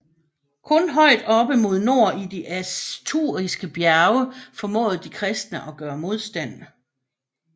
Kun højt oppe mod nord i de asturiske bjerge formåede de kristne at gøre modstand